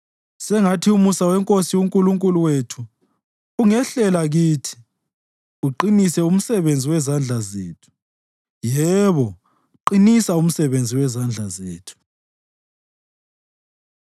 Sengathi umusa weNkosi uNkulunkulu wethu ungehlela kithi; uqinise umsebenzi wezandla zethu yebo, qinisa umsebenzi wezandla zethu.